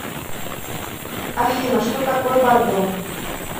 афина что такое бордо